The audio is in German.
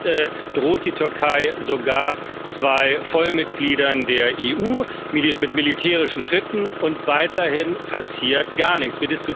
Jetzt droht die Türkei sogar zwei Vollmitgliedern der EU mit militärischen Schritten, und weiterhin passiert gar nichts.